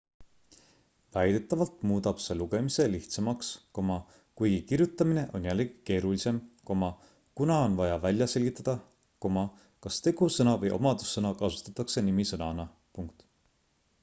väidetavalt muudab see lugemise lihtsamaks kuigi kirjutamine on jällegi keerulisem kuna on vaja välja selgitada kas tegusõna või omadussõna kasutatakse nimisõnana